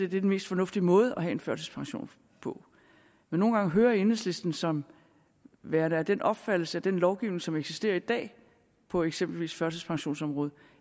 den mest fornuftige måde at have en førtidspension på men nogle gange hører jeg enhedslisten som værende af den opfattelse at den lovgivning som eksisterer i dag på eksempelvis førtidspensionsområdet